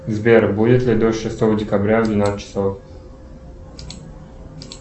сбер будет ли дождь шестого декабря в двенадцать часов